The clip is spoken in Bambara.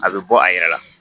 A bɛ bɔ a yɛrɛ la